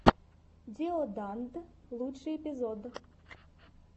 диоданд лучший эпизод